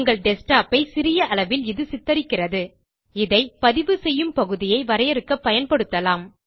உங்கள் desktopஐ சிறிய அளவில் இது சித்தரிக்கிறது இதை பதிவு செய்யும் பகுதியை வரையறுக்க பயன்படுத்தலாம்